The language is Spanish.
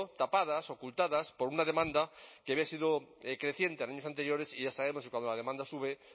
tapadas ocupadas por una demanda que había sido creciente en años anteriores y ya sabemos que cuando la demanda sube